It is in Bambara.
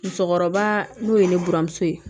Musokɔrɔba n'o ye ne buramuso ye